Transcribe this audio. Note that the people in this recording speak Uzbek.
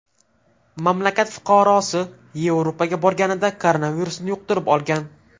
Mamlakat fuqarosi Yevropaga borganida koronavirusni yuqtirib olgan.